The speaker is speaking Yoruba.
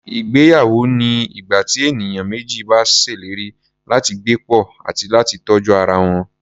Ìgbéyawó ni ìgbà tí ènìyàn méjì bá ṣèlérí láti gbé pọ̀, àti láti tọ́jú ara wọn.